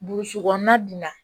Burusi kɔnɔna dun na